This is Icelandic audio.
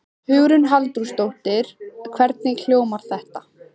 Hugrún Halldórsdóttir: Hvernig hljómar þetta?